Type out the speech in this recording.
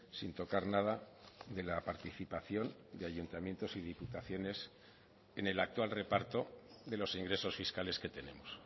sin tocar nada de la participación de ayuntamientos y diputaciones en el actual reparto de los ingresos fiscales que tenemos